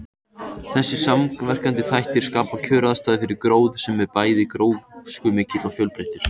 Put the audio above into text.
Þessir samverkandi þættir skapa kjöraðstæður fyrir gróður sem er bæði gróskumikill og fjölbreyttur.